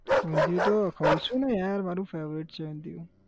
ઊંધીયું તો ખઉં છું ને યાર મારું favourite છે ઊંધીયું